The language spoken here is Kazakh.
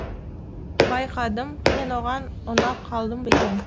байқадым мен оған ұнап қалдым ба екен